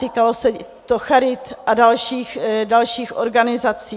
Týkalo se to charit a dalších organizací.